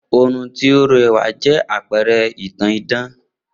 Oorun tó rẹwà jẹ́ àpẹrẹ ìtàn idán